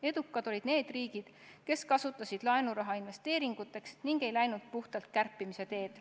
Edukad olid need riigid, kes kasutasid laenuraha investeeringuteks ega läinud puhtalt kärpimise teed.